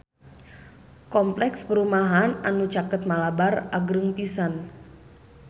Kompleks perumahan anu caket Malabar agreng pisan